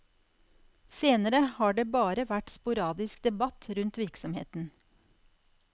Senere har det bare vært sporadisk debatt rundt virksomheten.